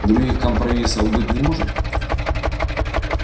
других компромиссов быть не может